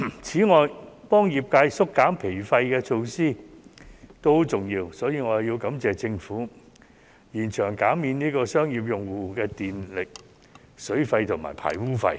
此外，幫業界縮減經營成本的措施也很重要，所以，我要感謝政府延長減免商業用戶的電費、水費和排污費。